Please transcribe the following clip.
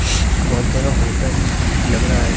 बहुत बड़ा होटल लग रहा है।